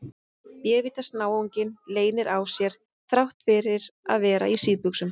Bévítans náunginn leynir á sér þrátt fyrir að vera í síðbuxum!